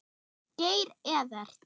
Geir Evert.